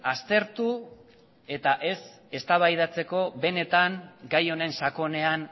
aztertu eta ez eztabaidatzeko benetan gai honen sakonean